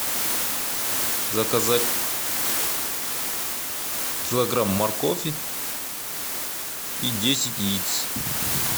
заказать килограмм моркови и десять яиц